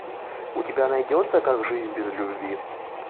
у тебя найдется как жизнь без любви